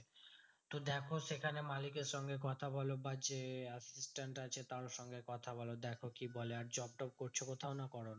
তো দেখো সেখানে মালিকের সঙ্গে কথা বোলো বা যে assistant আছে তার সঙ্গে কথা বলো, দেখো কি বলে? আর job টব করছো কোথাও না করোনা?